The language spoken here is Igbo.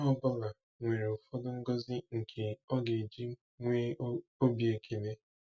Onye ọ bụla nwere ụfọdụ ngozi nke ọ ga-eji nwee obi ekele.